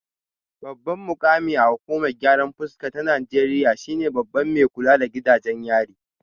Babban mukami a hukumar gyaran fuska ta Najeriya shine babban mai kula da gidajen yari